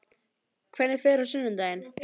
Hvernig fer á sunnudaginn?